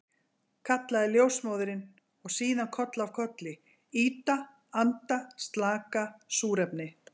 kallaði ljósmóðirin, og síðan koll af kolli, ýta anda slaka súrefni.